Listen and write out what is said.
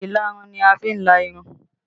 Ìlarun ni a fi ń la irun